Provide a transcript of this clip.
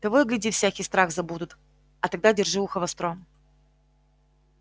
того и гляди всякий страх забудут а тогда держи ухо востро